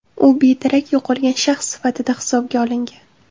U bedarak yo‘qolgan shaxs sifatida hisobga olingan.